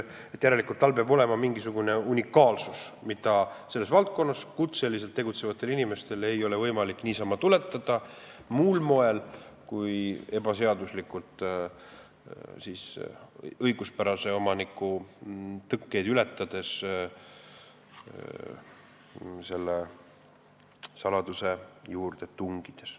Järelikult peab tal olema mingisugune unikaalsus, mida selles valdkonnas kutseliselt tegutsevatel inimestel ei ole võimalik tuletada muul moel kui ebaseaduslikult õiguspärase omaniku tõkkeid ületades selle saladuse juurde tungides.